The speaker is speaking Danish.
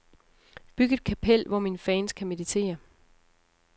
Byg et kapel, hvor mine fans kan meditere.